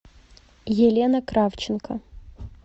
елена кравченко